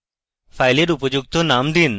ফাইলের উপযুক্ত নাম দিন